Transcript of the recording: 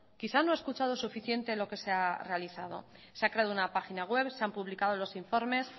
quizás no ha escuchado suficiente lo que se ha realizado se ha creado una página web se han publicado los informes